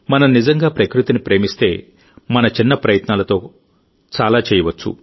మనం నిజంగా ప్రకృతిని ప్రేమిస్తేమన చిన్న ప్రయత్నాలతో కూడా చాలా చేయవచ్చు